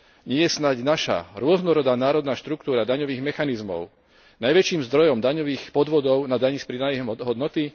Nie je snáď naša rôznorodá národná štruktúra daňových mechanizmov najväčším zdrojom daňových podvodov na dani z pridanej hodnoty?